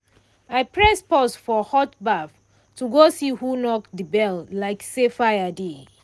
I press pause for hot baff to go see who knock di bell like say fire dey